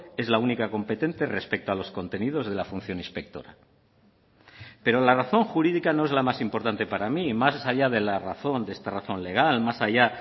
es la única competente respecto a los contenidos de la función inspectora pero la razón jurídica no es la más importante para mí más allá de la razón de esta razón legal más allá